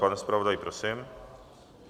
Pane zpravodaji, prosím.